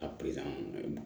A